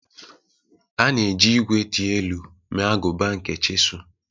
A na-eji ígwè dị elu mee agụba nke chisel.